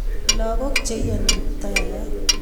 lagok cheiyani kiptaiyat